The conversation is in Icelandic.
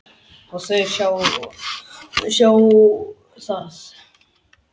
Og þau sjá það.